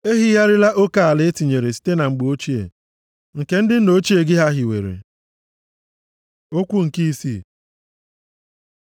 Ehigharịla oke ala e tinyere site na mgbe ochie. Nke ndị nna ochie gị ha hiwere. Okwu nke isii